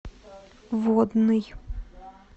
водный